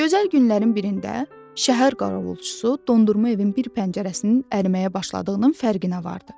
Gözəl günlərin birində şəhər qaravulçusu dondurma evin bir pəncərəsinin əriməyə başladığının fərqinə vardı.